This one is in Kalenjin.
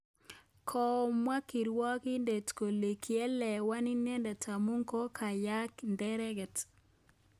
Komwa kirwogindet kole kiielewan inendet amu kokakolaany neregek